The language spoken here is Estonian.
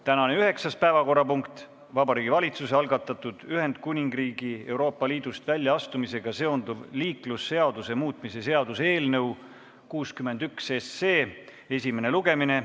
Tänane üheksas päevakorrapunkt on Vabariigi Valitsuse algatatud Ühendkuningriigi Euroopa Liidust väljaastumisega seonduva liiklusseaduse muutmise seaduse eelnõu 61 esimene lugemine.